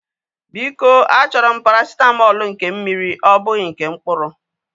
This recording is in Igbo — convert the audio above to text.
Biko a chọrọ m parasitamọlu nke mmiri ọ bụghị nke mkpụrụ